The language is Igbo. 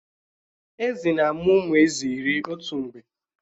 Èzí na-amụ ụmụ Èzí iri otu mgbe